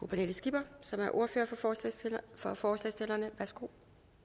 pernille skipper som er ordfører for forslagsstillerne værsgo